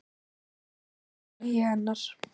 Mikið sakna ég hennar.